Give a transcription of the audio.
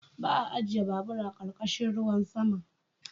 Ba a ajiye babur a ƙarƙashin ruwan sama.